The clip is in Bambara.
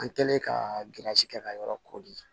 An kɛlen ka kɛ ka yɔrɔ kori